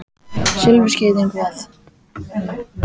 Silfurskeiðin hvað?